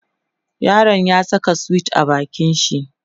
yaron ya Saka sweet a bakin shi